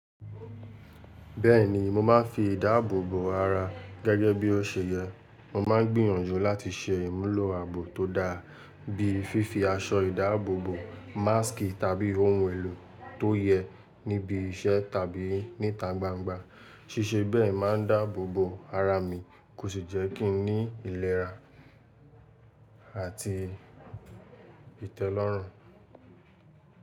Bẹ́ẹ̀ni, mo máa ń fi ìdáàbòbò ara gẹ́gẹ́ bí ó se yẹ. Mo máa ń gbìyànjú láti se ìmùlò àbò tó da, bíi fífi aṣọ ìdáàbòbò, másk tàbí ohun èlò tó yẹ níbi iṣẹ́ tàbí nítà gbángba. Síse bẹ́ẹ̀ máa ń dáàbòbò ara mi kò sì jẹ́ kí ń ní ìlera àti ìtẹ́lọ́rùn.